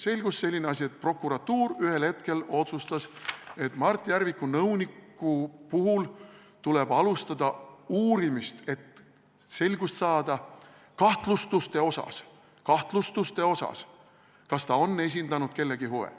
Selgus selline asi, et prokuratuur ühel hetkel otsustas, et Mart Järviku nõuniku puhul tuleb alustada uurimist, et selgust saada kahtlustuste osas, kas ta on esindanud kellegi huve.